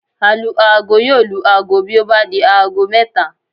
Alu-aago yóò lu aago bí ó bá di aago mẹ́ta